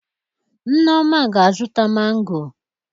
Nneoma ga-azụta mangọ.